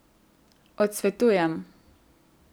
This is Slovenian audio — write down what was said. Odsvetujem.